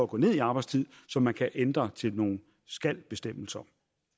gå ned i arbejdstid som man kan ændre til nogle skal bestemmelser